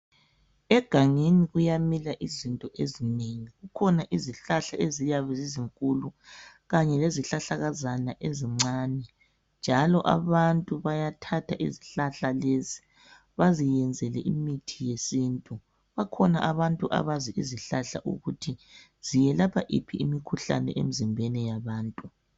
Egangeni kuyamila izinto ezinengi kukhona izihlahla eziyabe zizinkulu kanye lezihlahlakazana zizincane njalo abantu bayathatha izihlahla lezi baziyenzele imithi yesintu. Bakhona abantu abazi ukuthi ziyelapha iphi imikhuhlane emizimbeni yabantu.